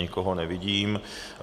Nikoho nevidím.